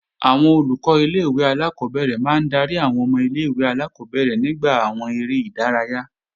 Àwọn Olùkọ́ ilé-ìwé alákọ́bẹ̀rẹ̀ máa ń darí àwọn ọmọ ilé-ìwé alákọ́bẹ̀rẹ̀ nígbà àwọn eré ìdárayá